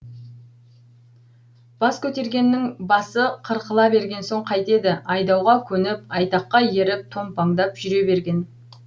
бас көтергеннің басы қырқыла берген соң қайтеді айдауға көніп айтаққа еріп томпаңдап жүре берген